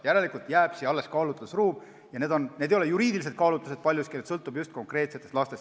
Järelikult jääb siia kaalutlusruum ja need ei ole juriidilised kaalutlused, paljuski sõltub see just konkreetsetest lastest.